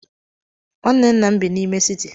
Nwanne nna m bi n'ime siti.